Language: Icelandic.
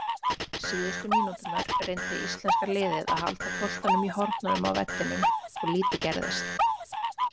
Síðustu mínúturnar reyndi íslenska liðið að halda boltanum í hornunum á vellinum og lítið gerðist.